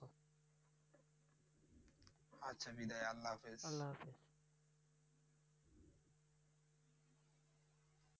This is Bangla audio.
আচ্ছা বিদায় আল্লাহ হাফেজ।